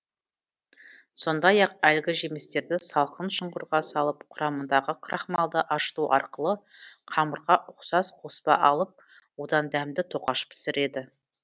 сондай ақ әлгі жемістерді салқын шұңқырға салып құрамындағы крахмалды ашыту арқылы қамырға ұқсас қоспа алып одан дәмді тоқаш пісіреді